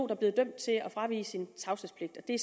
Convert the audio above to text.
er blevet dømt til at fravige sin tavshedspligt det